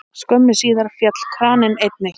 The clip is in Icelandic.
Skömmu síðar féll kraninn einnig.